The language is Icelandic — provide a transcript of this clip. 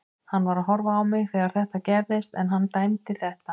Hann var að horfa á mig þegar þetta gerðist en hann dæmdi þetta.